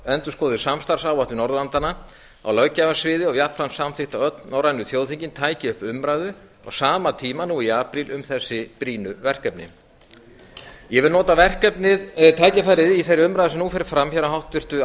endurskoðuð samstarfsáætlun norðurlandanna á löggjafarsviði og jafnframt samþykkt að öll norrænu þjóðþingin tækju upp umræðu á sama tíma nú í apríl um þessi brýnu verkefni ég vil nota tækifærið í þeirri umræðu sem nú fer fram hér á háttvirtu